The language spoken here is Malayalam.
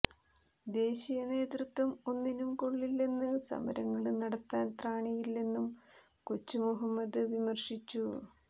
ദേശീയ നേതൃത്വം ഒന്നിനും കൊള്ളിലെന്ന് സമരങ്ങള് നടത്താൻ ത്രാണിയില്ലെന്നും കൊച്ചു മുഹമ്മദ് വിമര്ശിച്ചു